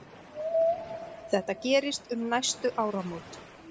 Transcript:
Þetta gerist um næstu áramót.